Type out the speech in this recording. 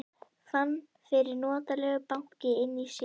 Fann fyrir notalegu banki inni í sér.